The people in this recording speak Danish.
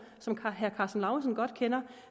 som herre karsten lauritzen godt kender og